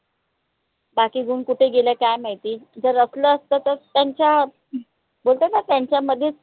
बाकी गुन कुटे गेले काय माहिती जर असला असता तर त्यांच्या होत न त्यांच्या मध्ये